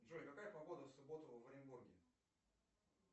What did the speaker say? джой какая погода в субботу в оренбурге